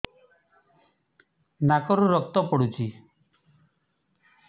ନାକରୁ ରକ୍ତ ପଡୁଛି